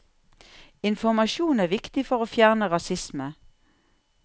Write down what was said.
Informasjon er viktig for å fjerne rasisme.